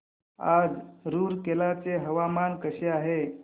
आज रूरकेला चे हवामान कसे आहे